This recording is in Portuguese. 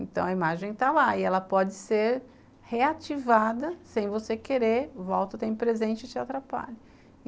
Então, a imagem está lá e ela pode ser reativada sem você querer, volta o tempo presente e te atrapalha.